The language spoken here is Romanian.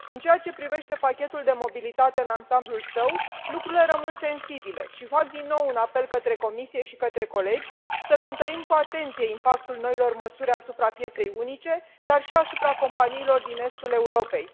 În ceea ce privește pachetul de mobilitate în ansamblul său lucrurile rămân sensibile și fac din nou un apel către Comisie și către colegi să cântărim cu atenție impactul noilor măsuri asupra pieței unice, dar și asupra companiilor din estul Europei.